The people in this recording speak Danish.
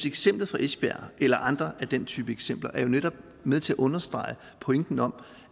eksemplet fra esbjerg eller andre af den type eksempler jo netop med til at understrege pointen om